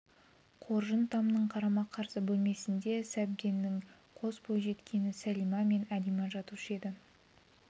қоржын тамның қарама-қарсы бөлмесінде сәбденнің қос бойжеткені сәлима мен әлима жатушы еді